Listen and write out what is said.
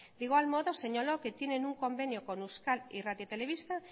de igual modo señaló que tienen un convenio con euskal irrati telebista